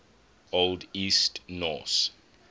old east norse